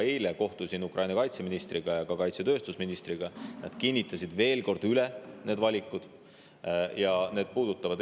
Eile kohtusin Ukraina kaitseministriga ja ka kaitsetööstusministriga, nad kinnitasid oma valikud veel kord üle.